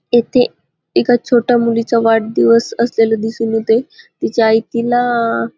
इथे एका छोट्या मुलीचा वाढदिवस असलेल दिसून येतय तिची आई तिला --